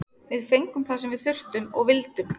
Við fengum það sem við þurftum og vildum.